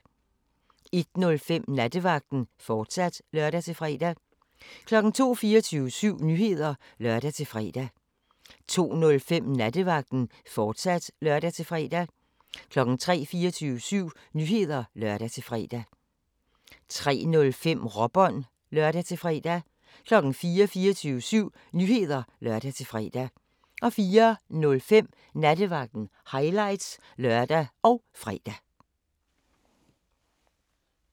01:05: Nattevagten, fortsat (lør-fre) 02:00: 24syv Nyheder (lør-fre) 02:05: Nattevagten, fortsat (lør-fre) 03:00: 24syv Nyheder (lør-fre) 03:05: Råbånd (lør-fre) 04:00: 24syv Nyheder (lør-fre) 04:05: Nattevagten – highlights (lør og fre)